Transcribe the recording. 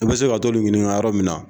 I be se ka t'olu ɲininka yɔrɔ min na